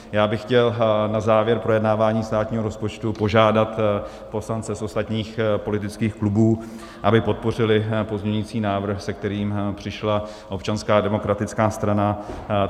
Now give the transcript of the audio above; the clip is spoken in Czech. Já bych chtěl na závěr projednávání státního rozpočtu požádat poslance z ostatních politických klubů, aby podpořili pozměňující návrh, se kterým přišla Občanská demokratická strana.